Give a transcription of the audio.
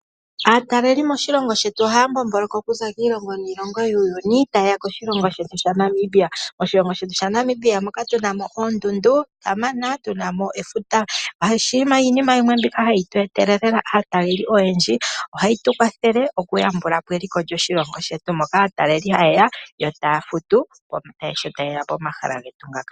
Aataleli moshilongo shetu ohaya mbombomboloka okuza kiilongo niilongo yuuyuni taye ya koshilongo shetu shaNamibia. Oshilongo shetu shaNamibia moka tuna mo oondundu kamana ,tuna mo efuta. Iinima yimwe mbika hayi tu etele lela aataleli oyendji. Ohayi tukwathele okuyambula po eliko lyoshilongo shetu moka aataleli haye ya, yo taya futu sho tayeya pomahala getu ngaka.